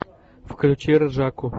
включи ржаку